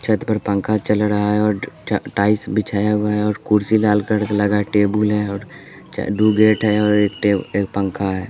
छत पर पंखा चल रहा है और टाइल्स बिछाया हुआ है और कुर्सी लाल का लगा है टेबुल है और दो गेट है और एक टे एक पंखा है।